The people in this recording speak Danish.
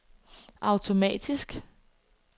automatisk